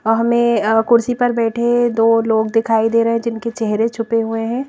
अ हमें अ कुर्सी बैठे दो लोग दिखाई दे रहे जिनके चेहरे छुपे हुए हैं।